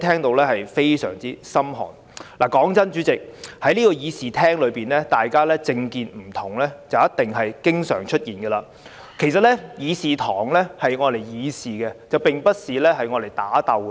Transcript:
老實說，主席，在這個議事廳內，大家政見不同，是一定會經常出現的，但議事堂該用來議事，而不是打鬥。